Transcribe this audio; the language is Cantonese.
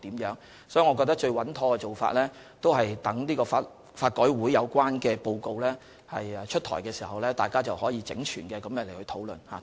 所以，我認為最穩妥的做法是等待法改會發表有關的報告，屆時大家便可整全地討論相關問題。